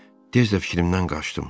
Tez də fikrimdən qaçdım.